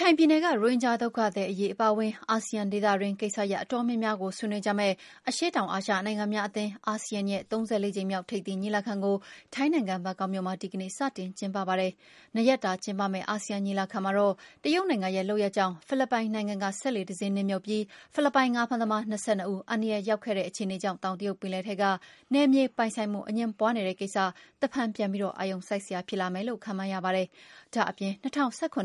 ခိုင်ပြည်နယ်က ရိုဟင်ဂျာဒုက္ခသည် အရေးအပါဝင် အာဆီယံဒေသတွင်းကိစ္စရပ် အတော်များများကို ဆွေးနွေးမယ့် အရှေ့တောင်အာရှနိုင်ငံများအသင်း ASEAN ရဲ့ ၃၄ ကြိမ်မြောက် ထိပ်သီးညီလာခံကို ထိုင်းနိုင်ငံ၊ ဘန်ကောက်မြို့မှာ ဒီကနေ့ စတင်ကျင်းပပါတယ်။ ၂ ရက်တာ ကျင်းပမယ့် အာဆီယံ ညီလာခံမှာတော့ တရုတ်နိုင်ငံရဲ့ လုပ်ရပ်ကြောင့် ဖိလစ်ပိုင်နိုင်ငံက စက်လှေတစင်းနစ်မြှုပ်ပြီး ဖိလစ်ပိုင်ငါးဖမ်းသမား ၂၂ ဦး အန္တရာယ်ရောက်ခဲ့တဲ့ အခြေအနေကြောင့် တောင်တရုတ်ပင်လယ်ထဲက နယ်မြေပိုင်ဆိုင်မှုအငြင်းပွားနေတဲ့ကိစ္စ တဖန်ပြန်ပြီး အာရုံစိုက်စရာ ဖြစ်လာမယ်လို့လည်း ခန့်မှန်းရပါတယ်။ ဒါ့အပြင် ၂၀၁၇ သြ